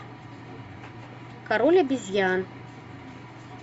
король обезьян